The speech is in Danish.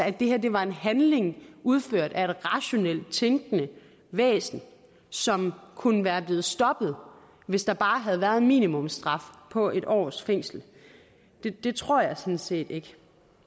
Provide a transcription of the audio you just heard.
at det her var en handling udført af et rationelt tænkende væsen som kunne være blevet stoppet hvis der bare havde været en minimumsstraf på en års fængsel det det tror jeg sådan set ikke